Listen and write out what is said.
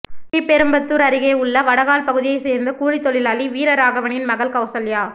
ஸ்ரீபெரும்புதூர் அருகே உள்ள வடகால் பகுதியை சேர்ந்த கூலி தொழிலாளி வீரராகவனின் மகள் கவுசல்யா